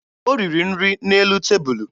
O riri nri n'elu tebulu